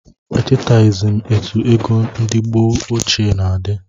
Echetaghizi m etụ égo ndị mgbe ochie na-adi